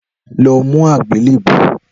Lọ mú àgbélébùú